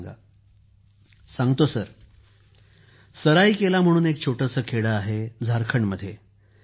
अभिजीत जीः माझी आई सराईकेला म्हणून एक छोटंसं खेडं आहे झारखंडमध्ये